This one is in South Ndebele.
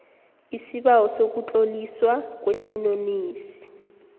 isibawo sokutloliswa kwesinonisi